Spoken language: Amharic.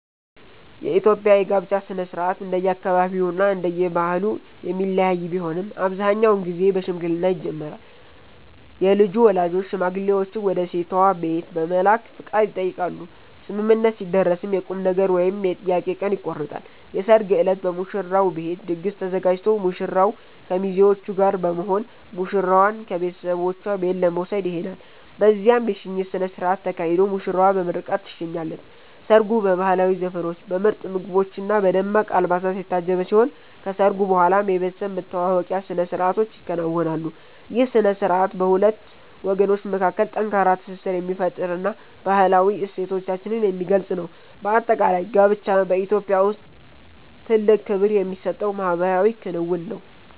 የኢትዮጵያ የጋብቻ ሥነ ሥርዓት እንደየአካባቢውና እንደየባህሉ የሚለያይ ቢሆንም፣ አብዛኛውን ጊዜ በሽምግልና ይጀምራል። የልጁ ወላጆች ሽማግሌዎችን ወደ ሴቷ ቤት በመላክ ፈቃድ ይጠይቃሉ፤ ስምምነት ሲደረስም የቁምነገር ወይም የጥያቄ ቀን ይቆረጣል። የሰርግ ዕለት በሙሽራው ቤት ድግስ ተዘጋጅቶ ሙሽራው ከሚዜዎቹ ጋር በመሆን ሙሽራዋን ከቤተሰቦቿ ቤት ለመውሰድ ይሄዳል። በዚያም የሽኝት ሥነ ሥርዓት ተካሂዶ ሙሽራዋ በምርቃት ትሸኛለች። ሰርጉ በባህላዊ ዘፈኖች፣ በምርጥ ምግቦችና በደማቅ አልባሳት የታጀበ ሲሆን፣ ከሰርጉ በኋላም የቤተሰብ መተዋወቂያ ሥነ ሥርዓቶች ይከናወናሉ። ይህ ሥነ ሥርዓት በሁለት ወገኖች መካከል ጠንካራ ትስስር የሚፈጥርና ባህላዊ እሴቶቻችንን የሚገልጽ ነው። በአጠቃላይ፣ ጋብቻ በኢትዮጵያ ውስጥ ትልቅ ክብር የሚሰጠው ማኅበራዊ ክንውን ነው።